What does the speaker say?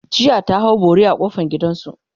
jiya ta hau bori a kofan gidansu